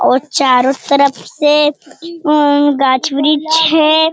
और चारो तरफ से उ गाछ वृक्ष है।